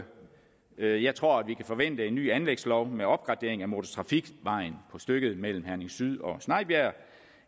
jeg jeg tror at vi kan forvente en ny anlægslov med opgradering af motortrafikvejen på stykket mellem herning syd og snejbjerg